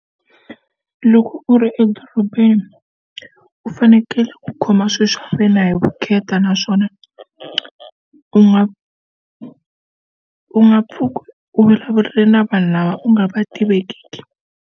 Loko u ri edorobeni u fanekele ku khoma swilo swa wena hi vukheta naswona u nga u nga pfuki u vulavula na vanhu lava u nga va tiveki.